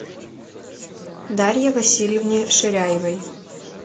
дарье васильевне ширяевой